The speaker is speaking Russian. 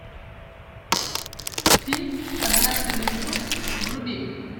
фильм однажды в лесу вруби